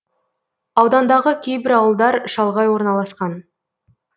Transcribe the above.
аудандағы кейбір ауылдар шалғай орналасқан